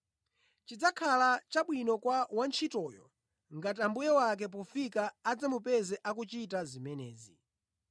Chidzakhala chabwino kwa wantchitoyo ngati mbuye wake pofika adzamupeza akuchita zimenezi.